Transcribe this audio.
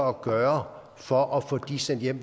at gøre for at få dem sendt hjem